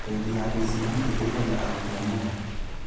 Bengi ya KCB ĩteithagia arutwo mũno